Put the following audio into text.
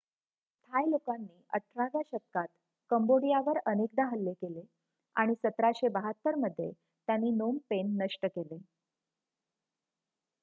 थाय लोकांनी 18 व्या शतकात कंबोडियावर अनेकदा हल्ले केले आणि 1772 मध्ये त्यांनी नोम पेन नष्ट केले